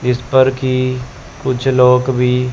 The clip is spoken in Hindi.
जिस पर की कुछ लोग भी--